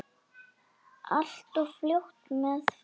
Allt of fljótt mér frá.